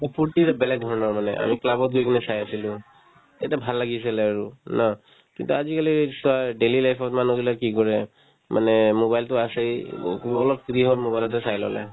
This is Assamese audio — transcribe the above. এই ফূৰ্তি এটা বেলেগ ধৰণৰ মানে আমি club ত গৈ কিনে চাই আছিলো তেতিয়া ভাল লাগি আছিলে আৰু ন কিন্তু আজিকালি চোৱা daily life ত মানুহগিলাই কি কৰে মানে mobile তো আছেই অলপ free হ'ম mobile তে চাই ল'লে